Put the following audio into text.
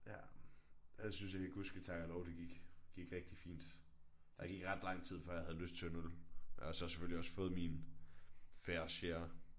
Ja. Jeg synes egentlig det gud ske tak og lov det gik gik rigtig fint. Der gik ret lang tid før jeg havde lyst til en øl men jeg har så selvfølgelig også fået min fair share